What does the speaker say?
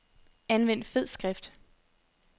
Anvend fed skrift.